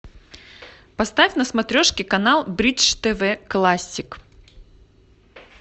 поставь на смотрешке канал бридж тв классик